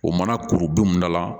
O mana kuru don mun da la